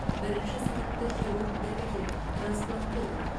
бірінші санатты хирург дәрігер трансплантолог